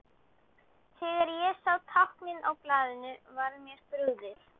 Þegar ég sá táknin á blaðinu var mér brugðið.